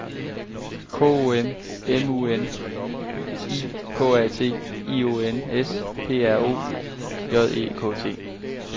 K O M M U N I K A T I O N S P R O J E K T